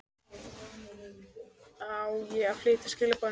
Á ég að flytja skilaboð norður?